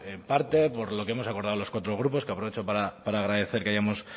pues parte por lo que hemos acordado los cuatro grupos que aprovecho para agradecer que hayamos